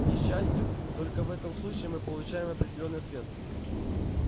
к несчастью только в этом случае мы получаем определённый ответ